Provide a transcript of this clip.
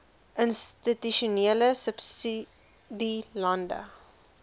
institusionele subsidie landelike